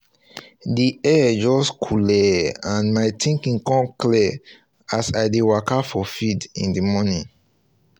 the air just cooleh and my thinking come clear as i dey waka for field in the morning